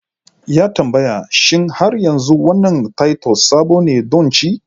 Ya tambaya: Shin har yanzu wannan titus sabo ne don ci?